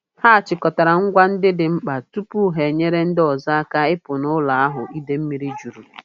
Ha chịkọtara ngwa ndị dị mkpa tupu ha enyere ndị ọzọ aka ịpụ n'ụlọ ahụ idei mmiri juru.